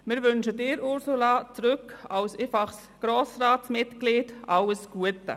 Wir wünschen Ihnen, Ursula Zybach, zurück als einfaches Grossratsmitglied, alles Gute!